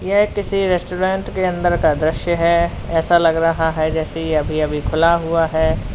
यह किसी रेस्टोरेंट के अंदर का दृश्य है ऐसा लग रहा है जैसे यह अभी अभी खुला हुआ है।